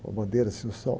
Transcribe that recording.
Uma bandeira assim, o Sol.